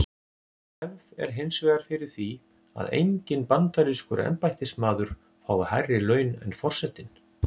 Hefð er hins vegar fyrir því að enginn bandarískur embættismaður fái hærri laun en forsetinn.